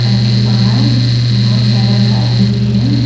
दुकान के बाहर बहुत सारा गाड़ी भी है।